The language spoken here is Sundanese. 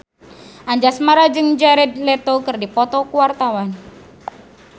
Anjasmara jeung Jared Leto keur dipoto ku wartawan